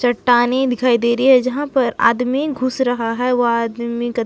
चट्टाने दिखाई दे रही है जहां पर आदमी घुस रहा है वो आदमी ग--